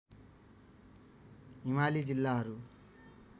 हिमाली जिल्लाहरू